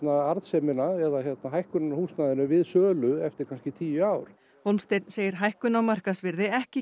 arðsemina eða hækkunina á húsnæðinu við sölu eftir kannski tíu ár Hólmsteinn segir hækkun á markaðsvirði ekki